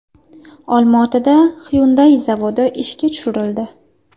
Olmaotada Hyundai zavodi ishga tushirildi.